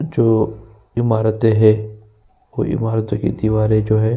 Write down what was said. जो इमारतें हैं वो इमारतों की दीवारें जो हैं --